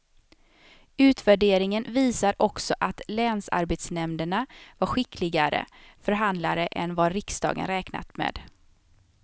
Utvärderingen visar också att länsarbetsnämnderna var skickligare förhandlare än vad riksdagen räknat med.